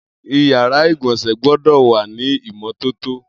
Iyàrá igbọnsẹ̀ gbọdọ wà ni imọ tótó